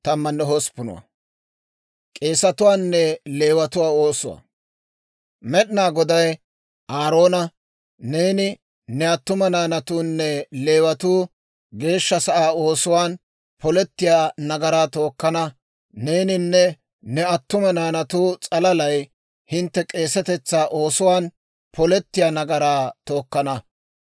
Med'inaa Goday Aaroona, «Neeni, ne attuma naanatuunne Leewatuu geeshsha sa'aa oosuwaan polettiyaa nagaraa tookkana; neeninne ne attuma naanatu s'alalay hintte k'eesetetsaa oosuwaan polettiyaa nagaraa tookkana.